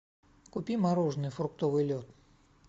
купи мороженое фруктовый лед